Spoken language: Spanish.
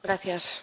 Señor Presidente,